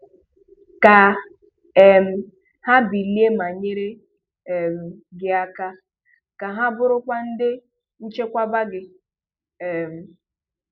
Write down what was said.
Ka um ha bilie ma nyere um gị aka; ka ha burukwa ndị nchekwaba gị." um